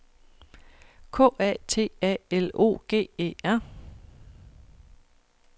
K A T A L O G E R